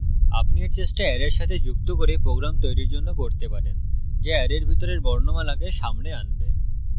আপনি এর চেষ্টা অ্যারের সাথে যুক্ত করে program তৈরীর জন্য করতে পারেন যা অ্যারের ভিতরের বর্ণমালাকে সামনে আনবে